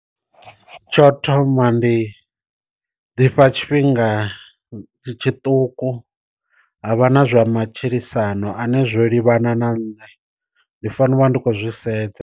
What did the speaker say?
Tsho thoma ndi ḓifha tshifhinga tshiṱuku ha vha na zwa matshilisano ane zwo livhana na nṋe, ndi fanela u vha ndi khou zwi sedza.